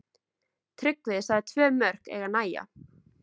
Tryggvi sagði tvö mörk eiga að nægja.